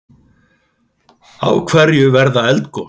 Af hverju verða eldgos?